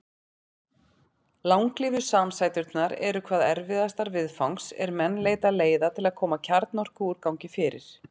Langlífu samsæturnar eru hvað erfiðastar viðfangs er menn leita leiða til að koma kjarnorkuúrgangi fyrir.